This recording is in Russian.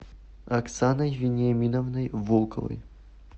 оксаной вениаминовной волковой